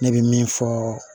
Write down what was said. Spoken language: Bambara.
Ne bɛ min fɔ